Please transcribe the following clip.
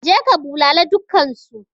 Je ka bulale dukkansu!